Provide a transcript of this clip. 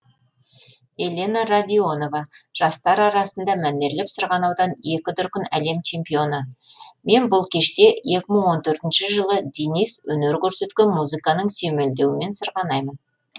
елена радионова жастар арасында мәнерлеп сырғанаудан екі дүркін әлем чемпионы мен бұл кеште екі мың он төртінші жылы денис өнер көрсеткен музыканың сүйемелдеуімен сырғанаймын